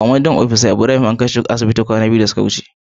Commanding opisa Ibrahim an kai shi asibiti kwanaki biyu da suka wuce.